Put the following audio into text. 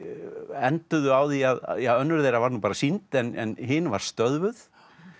enduðu á því að ja önnur þeirra var nú bara sýnd en hin var stöðvuð